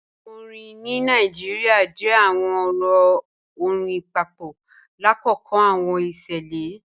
Awọn orin ni Nigeria jẹ awọn ọrọ ọ̀rìn papọ lakoko awọn iṣẹlẹ.